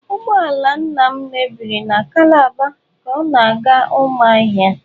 Ụgbọ ala nna m mebiri na calabar ka ọ na-aga Umuahia.